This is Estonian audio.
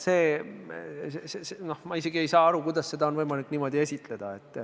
Ma isegi ei saa aru, kuidas seda on võimalik niimoodi esitleda.